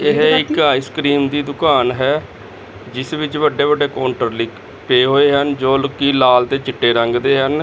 ਏਹ ਇੱਕ ਆਈਸਕਰੀਮ ਦੀ ਦੁਕਾਨ ਹੈ ਜਿਸ ਵਿੱਚ ਵੱਡੇ ਵੱਡੇ ਕੋਂਟਰ ਲਾਇਕ ਪਏ ਹੋਏ ਹਨ ਜੋਕਿ ਲਾਲ ਤੇ ਚਿੱਟੇ ਰੰਗ ਦੇ ਹਨ।